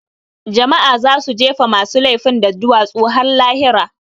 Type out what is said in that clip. Jama'a za su jefe masu lefin da duwatsu har lahira